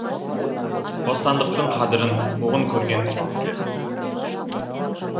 бостандықтың қадырын қуғын көрген соң білерсің